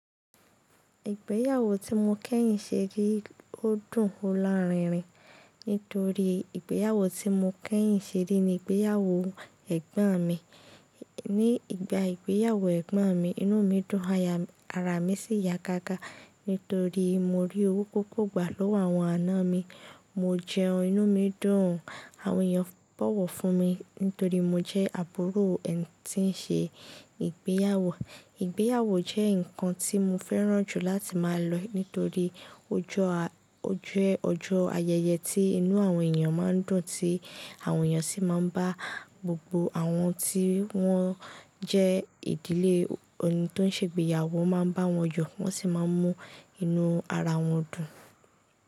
Ìgbéyàwó tí mo kẹ́yìn ṣe rí, ó dùn ó lá rínrìn. Nítorí ìgbéyàwó tí mo kẹ́yìn ṣe rí ni ìgbéyàwó ẹ̀gbọ́n mi. Ní ìgbà ìgbéyàwó ẹ̀gbọ́n mi, inú mi dùn, ara mi sì ya gaga. Nítorí mo rí owó púpọ̀ gbà lọ́wọ́ àwọn àna mi. Mo jẹun, inú mi dùn. Àwọn èèyàn bọ̀wọ̀ fún mi nítorí mo jẹ́ àbúrò ẹni tí ń ṣe ìgbéyàwó. Ìgbéyàwó jẹ́ nǹkan tí mo fẹ́ràn jù láti máa lọ, nítorí ó jẹ́ ọjọ́ ayẹyẹ tí inú àwọn èèyàn máa ń dùn, tí àwọn èèyàn sì máa ń bá gbogbo àwọn tí wọ́n jẹ́ ìdílé ẹni tó ń ṣe ìgbéyàwó máa ń bá wọn yo, wọ́n sì máa ń mú inú ara wọn dùn.